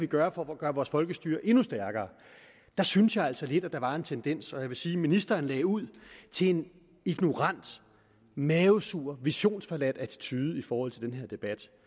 gøre for at gøre vores folkestyre endnu stærkere der synes jeg altså lidt at der var en tendens og jeg vil sige at ministeren lagde ud til en ignorant mavesur visionsforladt attitude i forhold til den her debat